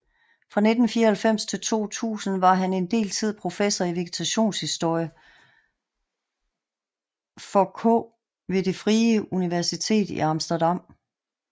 Fra 1994 til 2000 var han en del tid professor i vegetationshistorie for k ved Det Frie Universitet i Amsterdam